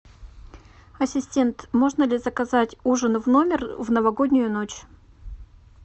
ассистент можно ли заказать ужин в номер в новогоднюю ночь